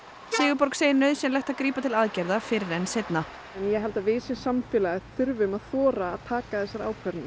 Sigurborg segir nauðsynlegt að grípa til aðgerða fyrr en seinna ég held að við sem samfélag þurfum að þora að taka þessar ákvarðanir